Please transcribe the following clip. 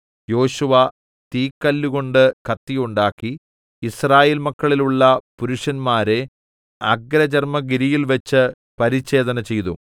യോശുവ തീക്കല്ലുകൊണ്ട് കത്തി ഉണ്ടാക്കി യിസ്രായേൽമക്കളിലുള്ള പുരുഷന്മാരെ അഗ്രചർമ്മഗിരിയിൽ വെച്ച് പരിച്ഛേദന ചെയ്തു